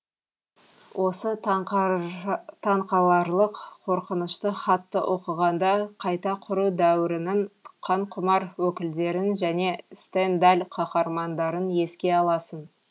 осы таңқаларлық қорқынышты хатты оқығанда қайта құру дәуірінің қанқұмар өкілдерін және стендаль қаһармандарын еске аласың